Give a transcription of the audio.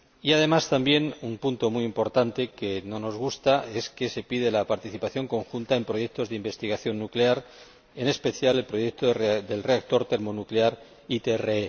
Además, un punto muy importante que no nos gusta es que se pide la participación conjunta en proyectos de investigación nuclear, en especial el proyecto del reactor termonuclear ITER.